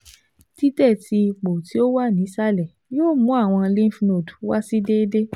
titẹ ti ipo ti o wa ni isalẹ yoo mu awọn lymph node wa si deede